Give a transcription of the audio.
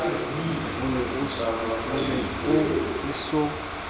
o ne o e so